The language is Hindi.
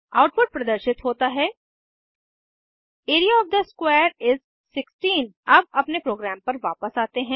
आउटपुट प्रदर्शित होता है एआरईए ओएफ थे स्क्वेयर इस 16 अब अपने प्रोग्राम पर वापस आते हैं